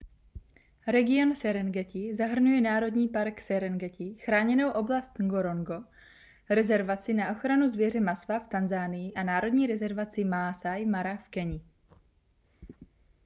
region serengeti zahrnuje národní park serengeti chráněnou oblast ngorongoro rezervaci na ochranu zvěře maswa v tanzanii a národní rezervaci maasai mara v keni